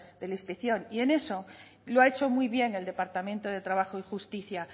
de la inspección y en eso lo ha hecho muy bien el departamento de trabajo y justicia